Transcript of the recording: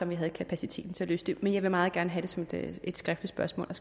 vi havde kapaciteten til at løse det men jeg vil meget gerne have det som et skriftligt spørgsmål og